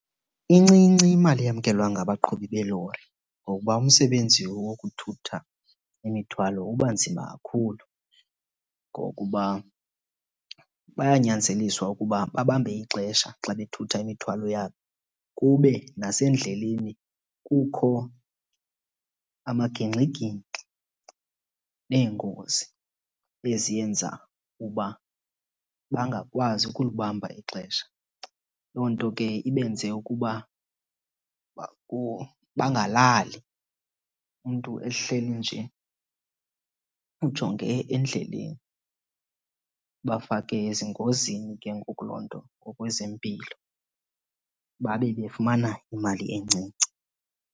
Incinci imali eyamkelwa ngabaqhubi beelori ngokuba umsebenzi wokuthutha imithwalo uba nzima kakhulu. Ngokuba bayanyanzeliswa ukuba babambe ixesha xa bethutha imithwalo yabo, kube nasendleleni kukho amagingxigingxi neengozi eziyenza uba bangakwazi ukulibamba ixesha. Loo nto ke ibenze ukuba bangalali umntu ehleli nje ujonge endleleni. Ibafake ezingozini ke ngoku loo nto ngokwezempilo babe befumana imali encinci.